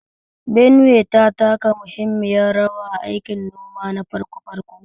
Benue ta taka muhimmiyar rawa a aikin noma na farko farko